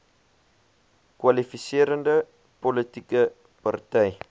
kwalifiserende politieke party